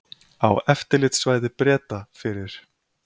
Á eftirlitssvæði Breta fyrir